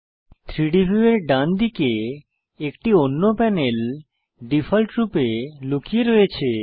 3ডি ভিউয়ের ডানদিকে একটি অন্য প্যানেল ডিফল্টভাবে লুকিয়ে রয়েছে